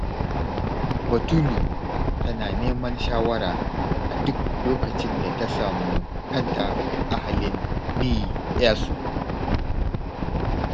Batulu tana neman shawara a duk lokacin da ta samu kanta a halin ni-'yasu